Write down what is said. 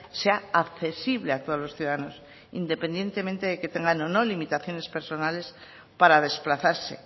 sea accesible a todos los ciudadanos independientemente de que tengan o no limitaciones personales para desplazarse